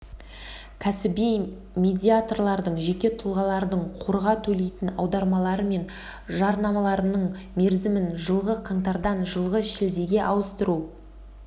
кәсіби медиаторлардың жеке тұлғалардың қорға төлейтін аударымдары мен жарналарының мерзімін жылғы қаңтардан жылғы шілдеге ауыстыру